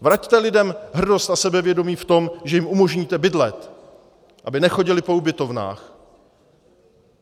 Vraťte lidem hrdost a sebevědomí v tom, že jim umožníte bydlet, aby nechodili po ubytovnách.